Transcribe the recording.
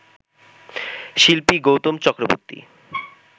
শিল্পী গৌতম চক্রবর্তী